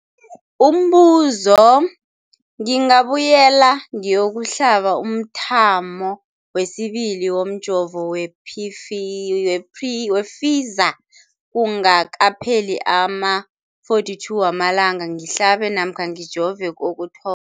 Umbuzo, ngingabuyela ngiyokuhlaba umthamo wesibili womjovo we-Pfizer kungakapheli ama-42 wamalanga ngihlabe namkha ngijove kokutho